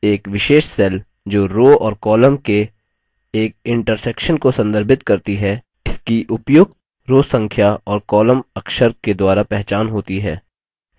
एक विशेष cell जो row और column के एक इन्टर्सेक्शन को संदर्भित करती है इसकी उपयुक्त row संख्या और column अक्षर के द्वारा पहचान होती है